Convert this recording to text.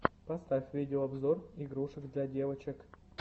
поставь видео обзор игрушек для девочек